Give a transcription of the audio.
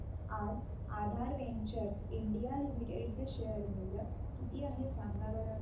आज Aadhaar Ventures India Limited चे share चे मूल्य किती आहे सांगा बरं